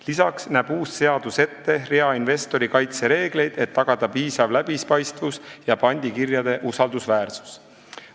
Lisaks näeb uus seadus ette rea investori kaitse reegleid, et tagada piisav läbipaistvus ja pandikirjade usaldusväärsus.